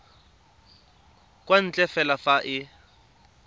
kwa ntle fela fa e